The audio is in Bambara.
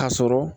Ka sɔrɔ